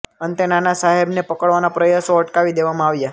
અંતે નાના સાહેબને પકડવાના પ્રયાસો અટકાવી દેવામાં આવ્યા